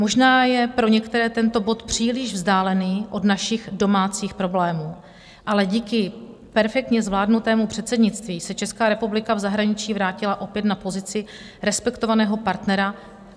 Možná je pro některé tento bod příliš vzdálený od našich domácích problémů, ale díky perfektně zvládnutému předsednictví se Česká republika v zahraničí vrátila opět na pozici respektovaného partnera.